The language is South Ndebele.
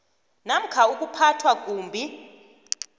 namkha ukuphathwa kumbi